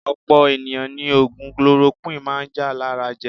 Opo eniyan ni ogun kolorokuwini maa n ja lara je.